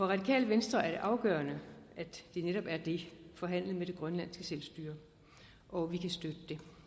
radikale venstre er det afgørende at det netop er det forhandlet med det grønlandske selvstyre og vi kan støtte